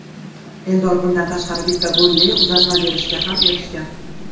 Eldor bundan tashqari bitta golli uzatma berishga ham erishgan.